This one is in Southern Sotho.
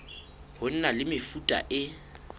ho na le mefuta e